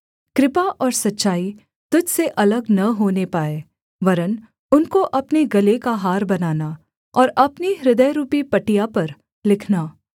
कृपा और सच्चाई तुझ से अलग न होने पाएँ वरन् उनको अपने गले का हार बनाना और अपनी हृदयरूपी पटिया पर लिखना